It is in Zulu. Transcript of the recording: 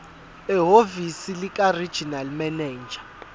ehhovisi likaregional manager